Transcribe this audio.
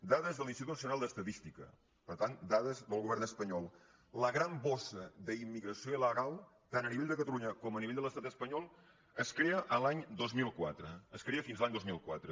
dades de l’institut nacio·nal d’estadística per tant dades del govern espanyol la gran bossa d’immigració il·legal tant a nivell de ca·talunya com a nivell de l’estat espanyol es crea l’any dos mil quatre no es crea fins a l’any dos mil quatre